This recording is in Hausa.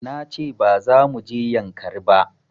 Na ce ba za mu je yankari ba